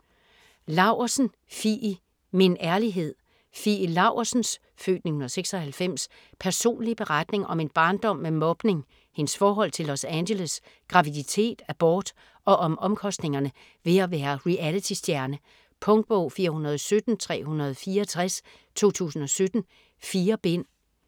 Laursen, Fie: Min ærlighed Fie Laursens (f. 1996) personlige beretning om en barndom med mobning, hendes forhold til Los Angeles, graviditet, abort og om omkostningerne ved at være realitystjerne. Punktbog 417364 2017. 4 bind.